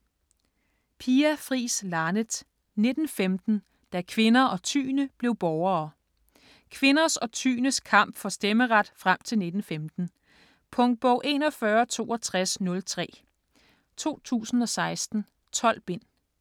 Laneth, Pia Fris: 1915 - da kvinder og tyende blev borgere Kvinders og tyendes kamp for stemmeret frem til 1915. Punktbog 416203 2016. 12 bind.